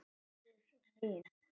Hildur mín!